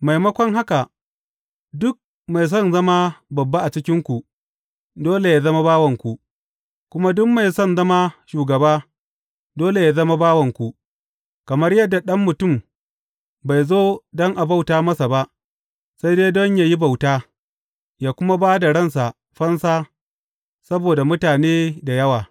Maimakon haka, duk mai son zama babba a cikinku, dole yă zama bawanku, kuma duk mai son zama shugaba, dole yă zama bawanku, kamar yadda Ɗan Mutum bai zo don a bauta masa ba, sai dai don yă yi bauta, yă kuma ba da ransa fansa saboda mutane da yawa.